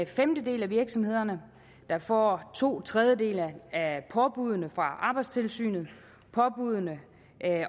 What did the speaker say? femtedel af virksomhederne der får to tredjedele at påbuddene fra arbejdstilsynet påbuddene